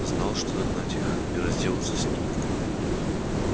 знал что догнать их и разделаться с ними